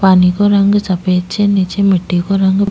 पानी को रंग सफेद छे निचे मिट्टी को रंग --